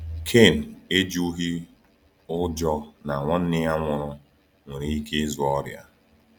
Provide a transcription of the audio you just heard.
Kain ejughị ụjọ na nwanne ya nwụrụ nwere ike ịzụ ọrịa.